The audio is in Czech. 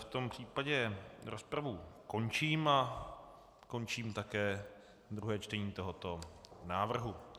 V tom případě rozpravu končím a končím také druhé čtení tohoto návrhu.